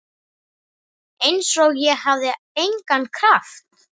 Einsog ég hafi engan kraft.